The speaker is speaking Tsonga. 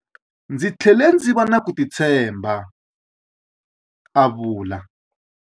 Ndzi tlhele ndzi va na ku titshemba, a vula.